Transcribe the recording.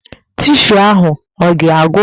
Tishuu ahụ ọ ga-agwụ?